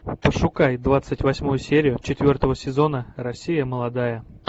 пошукай двадцать восьмую серию четвертого сезона россия молодая